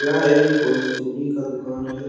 यह एक कोई चूड़ी का दुकान है।